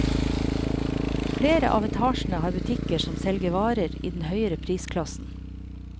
Flere av etasjene har butikker som selger varer i den høyere prisklassen.